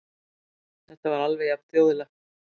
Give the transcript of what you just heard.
Þetta var alveg jafn þjóðlegt.